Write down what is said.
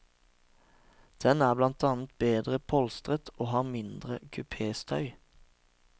Den er blant annet bedre polstret og har mindre kupéstøy.